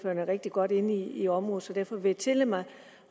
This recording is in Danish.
er rigtig godt inde i området så derfor vil jeg tillade mig